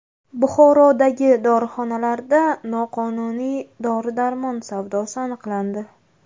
Buxorodagi dorixonalarda noqonuniy dori-darmon savdosi aniqlandi.